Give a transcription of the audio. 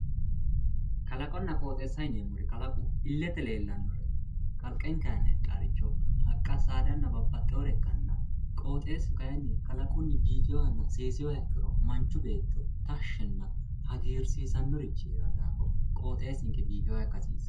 Kalaqonna qooxeessa yineemmori kalaqu illete leellannore kalqenke aana heedhaworicho haqqa saadanna babbaxxewore ikkanna qooxeessu kayinni kalaqunni biifewohanna seesewoha ikkiro manchu beetto tashinna hagiirsiisannorichi heerawo daafo qooxeessinke biifewoha ikka hasiissanno